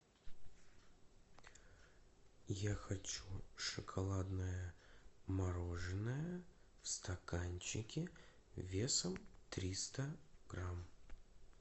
я хочу шоколадное мороженое в стаканчике весом триста грамм